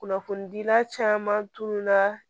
Kunnafonidila caman tununa